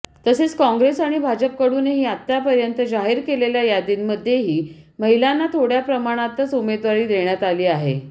तसेच काँग्रेस आणि भाजपकडूनही आतापर्यंत जाहीर केलेल्या यादींमध्येही महिलांना थोड्या प्रमाणातच उमेदवारी देण्यात आली आहे